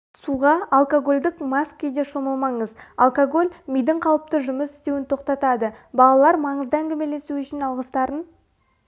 суға алкагольдік мас күйде шомылмаңыз алкоголь мидың қалыпты жұмыс істеуін тоқтатады балалар маңызды әңгімелесу үшін алғыстарын